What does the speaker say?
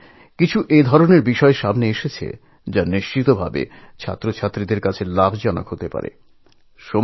এমন কিছু না কিছু বিষয়চলে আসে যে তা সব পরীক্ষার্থীদের কাছেই অত্যন্ত কার্যকরী হয়ে উঠতে পারে